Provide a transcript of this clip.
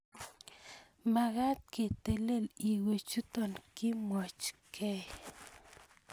Magat ketelel iywechuto, kimwochkei